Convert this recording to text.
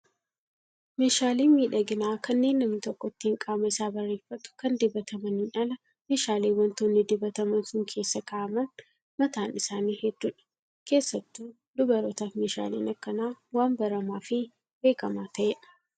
Meeshaaleen miidhaginaa kanneen namni tokko ittiin qaama isaa bareeffatu kan dibatamaniin ala meeshaaleen wantoonni dibataman sun keessa kaa'aman mataan isaanii hedduudha. Keessattuu dubarootaaf meeshaaleen akkanaa waan baramaa fi beekamaa ta'edha